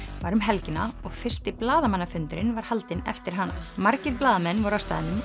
var um helgina og fyrsti blaðamannafundurinn var haldinn eftir hana margir blaðamenn voru á staðnum